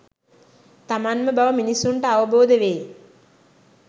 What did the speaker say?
තමන්ම බව මිනිස්සුන්ට අවබෝධ වේ.